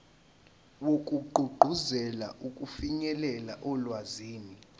wokugqugquzela ukufinyelela olwazini